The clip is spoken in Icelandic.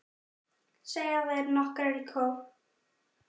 segja þær nokkrar í kór.